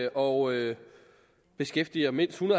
og beskæftiger mindst en